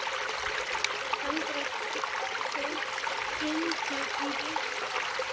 Kendra, hringdu í Villads.